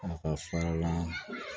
A ka fara la